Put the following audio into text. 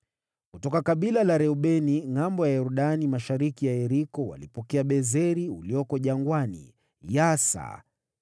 Kutoka kabila la Reubeni, ngʼambo ya Yordani mashariki mwa Yeriko walipokea Bezeri ulioko jangwani, Yahasa,